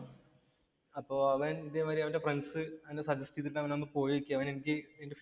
അപ്പോ ഇതേ മാതിരി അവന്‍റെ ഫ്രണ്ട്സ് സജസ്റ്റ് ചെയ്തിട്ട് അവന്‍ ഒന്ന് പോയേക്കുവാ. അവന്‍